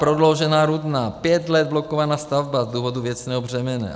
Prodloužená Rudná - pět let blokovaná stavba z důvodu věcného břemene.